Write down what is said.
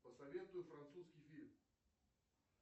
посоветуй французский фильм